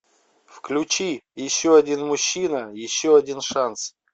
включи еще один мужчина еще один шанс